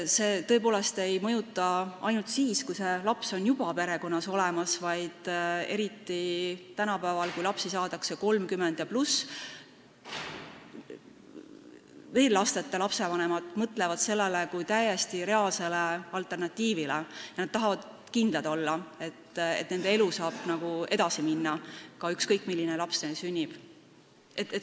See tõepoolest ei mõjuta ainult siis, kui selline laps on juba perekonnas olemas, vaid tänapäeval, kui lapsi saadakse vanuses 30+, mõtlevad veel lasteta inimesed sellele kui täiesti reaalsele võimalusele ja nad tahavad kindlad olla, et nende elu saab edasi minna, ükskõik milline laps neil sünnib.